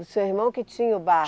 O seu irmão que tinha o